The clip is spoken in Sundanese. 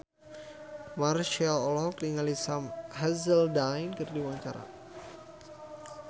Marchell olohok ningali Sam Hazeldine keur diwawancara